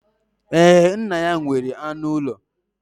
Ee, nna ya nwere anụ ụlọ